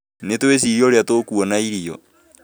Nĩ twĩcirie ũrĩa tũkwona ĩrio